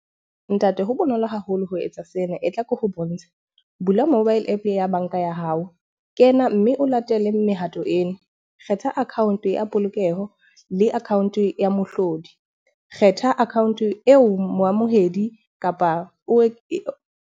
Ntate ho bonolo haholo ho etsa sena e tla ke ho bontshe, bula mobile app ya banka ya hao. Ke yena mme o latele mehato ena. Kgetha account ya polokeho le account ya mohlodi. Kgetha account eo moamohedi kapa o .